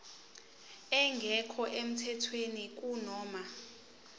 engekho emthethweni kunoma